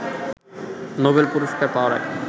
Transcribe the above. Nobel পুরস্কার পাওয়ার আগে